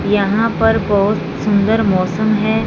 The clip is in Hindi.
यहां पर बहुत सुंदर मौसम है।